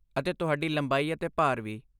ਅਤੇ ਤੁਹਾਡੀ ਲੰਬਾਈ ਅਤੇ ਭਾਰ ਵੀ।